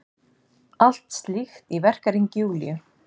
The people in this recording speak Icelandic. Allt slíkt í verkahring Júlíu.